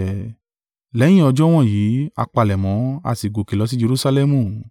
Lẹ́yìn ọjọ́ wọ̀nyí, a palẹ̀mọ́, a sì gòkè lọ sí Jerusalẹmu.